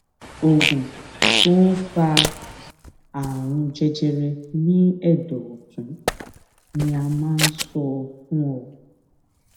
oògùn tó ń fa àrùn jẹjẹrẹ ní ẹdọ ọtún ni a máa ń sọ fún ọ